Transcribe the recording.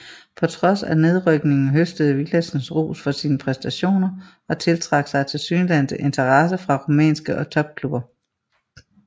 På trods af nedrykningen høstede Villadsen ros for sine præstationer og tiltrak sig tilsyneladende interesse fra rumænske topklubber